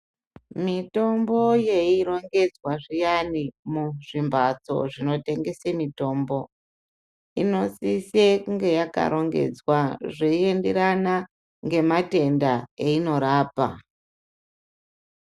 Mitombo yeirongedzwa zviyani muzvimbatso zvinotengese mitombo inosisa kunge yakarongedzwa zveinderana ngematenda einorapa